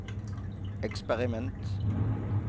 eksperiment